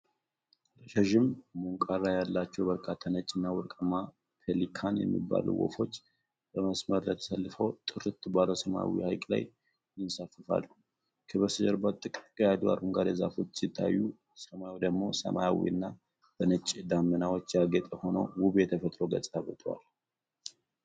ረዣዥም ምንቃር ያላቸው በርካታ ነጭና ወርቃማ ፔሊካን የሚባሉ ወፎች በመስመር ተሰልፈው ጥርት ባለው ሰማያዊ ሐይቅ ላይ ይንሳፈፋሉ። ከበስተጀርባ ጥቅጥቅ ያሉ አረንጓዴ ዛፎች ሲታዩ፣ ሰማዩ ደግሞ ሰማያዊና በነጭ ደመናዎች ያጌጠ ሆኖ ውብ የተፈጥሮ ገጽታ ፈጥሯል።